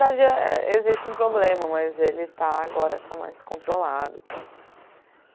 é existe um problema, mas ele está agora está mais controlado e tal.